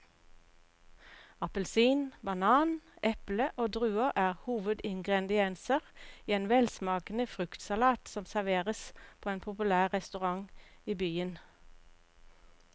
Appelsin, banan, eple og druer er hovedingredienser i en velsmakende fruktsalat som serveres på en populær restaurant i byen.